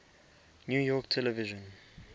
new york television